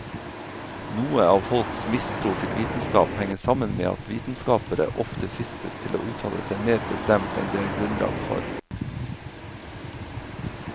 Noe av folks mistro til vitenskap henger sammen med at vitenskapere ofte fristes til å uttale seg mer bestemt enn det er grunnlag for.